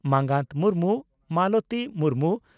ᱢᱟᱸᱜᱟᱛ ᱢᱩᱨᱢᱩ ᱢᱟᱞᱚᱛᱤ ᱢᱩᱨᱢᱩ